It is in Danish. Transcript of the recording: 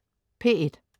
P1: